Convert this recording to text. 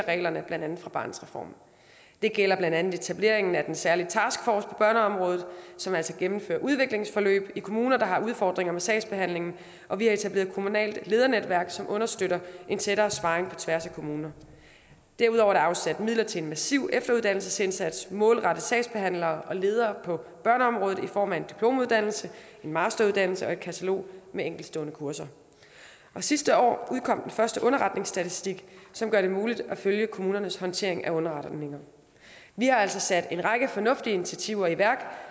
reglerne blandt andet fra barnets reform det gælder blandt andet etableringen af den særlige taskforce på børneområdet som altså gennemfører udviklingsforløb i kommuner der har udfordringer med sagsbehandlingen og vi har etableret et kommunalt ledernetværk som understøtter en tættere sparring på tværs af kommuner derudover er der afsat midler til en massiv efteruddannelsesindsats målrettet sagsbehandlere og ledere på børneområdet i form af en diplomuddannelse en masteruddannelse og et katalog med enkeltstående kurser og sidste år udkom den første underretningsstatistik som gør det muligt at følge kommunernes håndtering af underretninger vi har altså sat en række fornuftige initiativer i værk